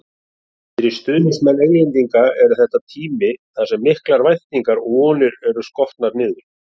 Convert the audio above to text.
Fyrir stuðningsmann Englendinga er þetta tími þar sem miklar væntingar og vonir eru skotnar niður.